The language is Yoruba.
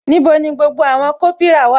Níbo ni gbogbo àwọn kopira wà?